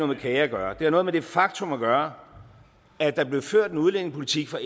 med kage at gøre det har noget med det faktum at gøre at der blev ført en udlændingepolitik fra